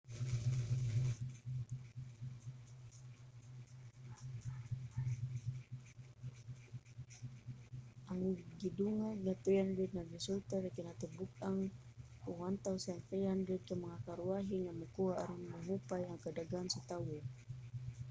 ang gidungag nga 300 nagresulta sa kinatibuk-ang 1,300 ka mga karwahe nga makuha aron mahupay ang kadaghan sa tawo